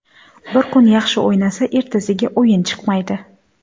Bir kun yaxshi o‘ynasa, ertasiga o‘yini chiqmaydi.